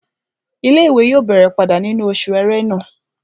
Ilé-ìwé yóò bẹ̀rẹ̀ padà nínú oṣù ẹrẹ́nà